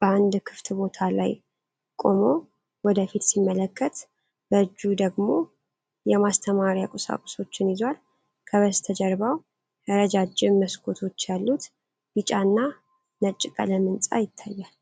በአንድ ክፍት ቦታ ላይ ቆሞ ወደ ፊት ሲመለከት፣ በእጁ ደግሞ የማስተማሪያ ቁሳቁሶችን ይዟል። ከበስተጀርባውም ረጃጅም መስኮቶች ያሉት ቢጫ እና ነጭ ቀለም ሕንፃ ይታያል።